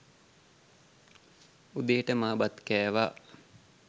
උදේට මා බත් කෑවා